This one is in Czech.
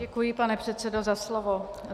Děkuji, pane předsedo, za slovo.